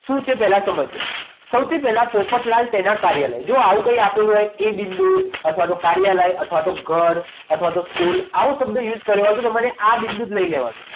શું છે કે પહેલા સમજજો સૌથી પહેલા પોપટલાલ તેના કાર્યાલય જો આવું કંઈ આપેલું હોય એ બિંદુ અથવા તો કાર્યાલય અથવા તો ઘર અથવા તો સ્કૂલ આવો શબ્દ use કર્યો હોય તો તમારે આ બિંદુ જ લઈ લેવાનું